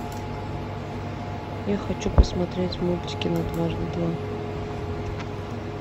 я хочу посмотреть мультики на дважды два